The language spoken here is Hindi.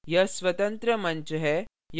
यह स्वतंत्र मंच है